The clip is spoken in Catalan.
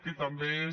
que també és